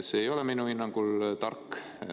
See ei ole minu hinnangul tark.